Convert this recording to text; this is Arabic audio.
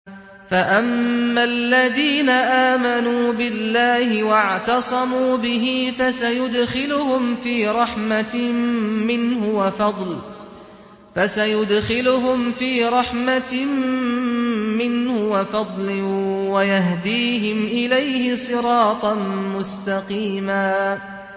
فَأَمَّا الَّذِينَ آمَنُوا بِاللَّهِ وَاعْتَصَمُوا بِهِ فَسَيُدْخِلُهُمْ فِي رَحْمَةٍ مِّنْهُ وَفَضْلٍ وَيَهْدِيهِمْ إِلَيْهِ صِرَاطًا مُّسْتَقِيمًا